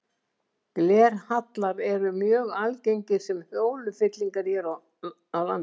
Glerhallar eru mjög algengir sem holufyllingar hér á landi.